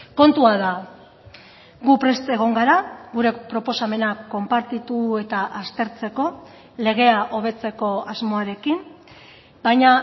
kontua da gu prest egon gara gure proposamenak konpartitu eta aztertzeko legea hobetzeko asmoarekin baina